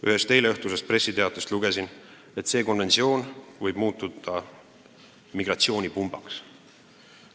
Ühest eileõhtusest pressiteatest lugesin, et see konventsioon võib muutuda migratsioonipumbaks.